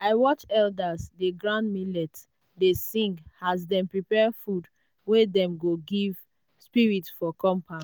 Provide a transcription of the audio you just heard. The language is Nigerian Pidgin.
watch elders dey grind millet dey sing as dem prepare food wey dem go give spirit for compound.